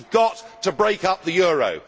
We have got to break up the euro.